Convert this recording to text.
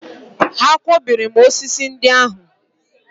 Ha akwọbiri m osisi ndị ahụ?